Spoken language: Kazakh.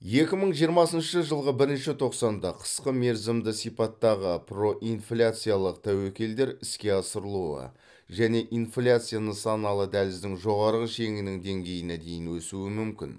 екі мың жиырмасыншы жылғы бірінші тоқсанда қысқа мерзімді сипаттағы проинфляциялық тәуекелдер іске асырылуы және инфляция нысаналы дәліздің жоғары шегінің деңгейіне дейін өсуі мүмкін